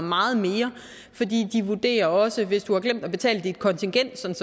meget mere de vurderer også er hvis du har glemt at betale dit kontingent